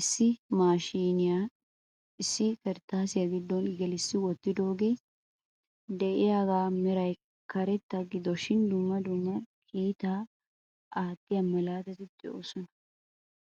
issi maashiniyaa issi kirttassiya giddon gelissi wottidooge de'iyaaga meray karetta gidoshin dumma dumma kiittaa aattiya malaatati de'oosona.